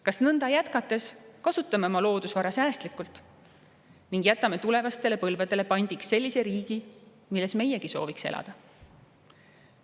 Kas nõnda jätkates kasutame oma loodusvara säästlikult ning jätame tulevastele põlvedele pandiks sellise riigi, milles meiegi sooviks elada?